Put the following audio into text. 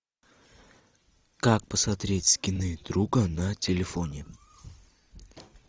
как посмотреть скины друга на телефоне